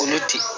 Olu ti